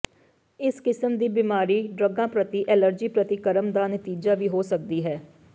ਇਸ ਕਿਸਮ ਦੀ ਬਿਮਾਰੀ ਡਰੱਗਾਂ ਪ੍ਰਤੀ ਐਲਰਜੀ ਪ੍ਰਤੀਕਰਮ ਦਾ ਨਤੀਜਾ ਵੀ ਹੋ ਸਕਦੀ ਹੈ